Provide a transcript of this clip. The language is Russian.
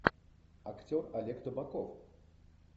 актер олег табаков